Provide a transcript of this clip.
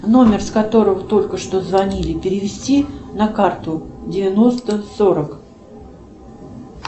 номер с которого только что звонили перевести на карту девяносто сорок